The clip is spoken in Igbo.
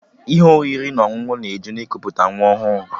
Ihe oriri na ọṅụṅụ ga-eju na ikuputa nwa ahụ